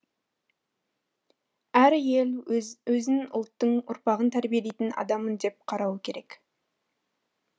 әр әйел өзін ұлттың ұрпағын тәрбиелейтін адаммын деп қарауы керек